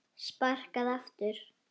Sparkað aftur.